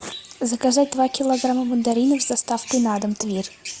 заказать два килограмма мандаринов с доставкой на дом тверь